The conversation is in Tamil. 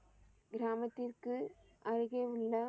கிராமத்திற்கு அருகே உள்ள